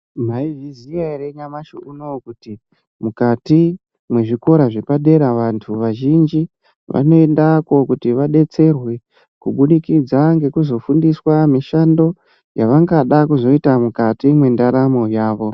Maizviziiiya ere nyamashi unowu kuti mukati mwezvikora zvepadera vantu vazhinji vanoendako kuti vadetserwekubudikidza ngekuzofundiswa mushando yavangada kuzoita mukati mwendaramo yavo.